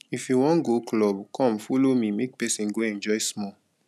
if you wan go club come follow me make person go enjoy small.